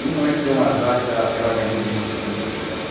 E não é que deu um azar que ah ela ganhou o bendito concurso mesmo.